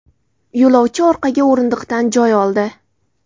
Yo‘lovchi orqaga o‘rindiqdan joy oldi.